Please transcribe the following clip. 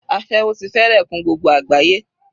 Aséwó ti fẹ́rẹ̀ kún gbogbo àgbáyé.